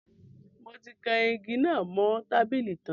Mo ti kan igi náà mo tábìlì tan